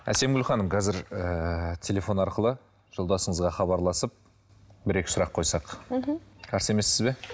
әсемгүл ханым қазір ііі телефон арқылы жолдасыңызға хабарласып бір екі сұрақ қойсақ мхм қарсы емессіз бе